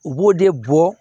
U b'o de bɔ